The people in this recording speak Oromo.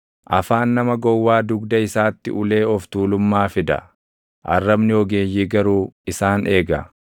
Afaan nama gowwaa dugda isaatti ulee of tuulummaa fida; arrabni ogeeyyii garuu isaan eega.